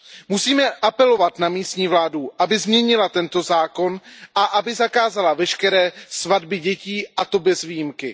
Musíme apelovat na místní vládu, aby změnila tento zákon a aby zakázala veškeré svatby dětí, a to bez výjimky.